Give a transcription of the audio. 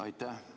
Aitäh!